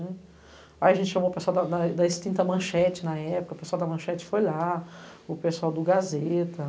Aí a gente chamou o pessoal da extinta manchete na época, o pessoal da manchete foi lá, o pessoal do Gazeta.